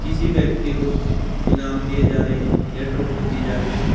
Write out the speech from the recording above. किसी व्यक्ति को इनाम दिए जा रहे हैं या ट्रॉफी दी जा रही है।